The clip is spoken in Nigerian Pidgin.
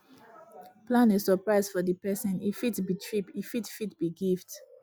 plan a suprise for di perosn e fit be trip e fit fit be gift